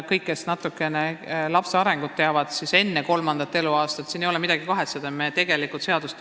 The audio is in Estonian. Kõik, kes natukene midagi lapse arengust teavad, teavad ka, et siin ei ole midagi kahetseda, et see ei alga enne kolmandat eluaastat.